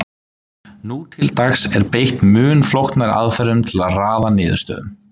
Nú til dags er beitt mun flóknari aðferðum til að raða niðurstöðum.